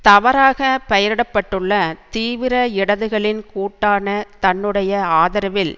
தவறாக பெயரிடப்பட்டுள்ள தீவிர இடதுகளின் கூட்டான தன்னுடைய ஆதரவில்